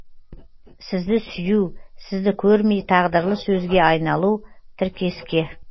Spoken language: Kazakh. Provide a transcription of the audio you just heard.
сізді сүю сізді көрмей тағдырлы сөзге айналу тіркеске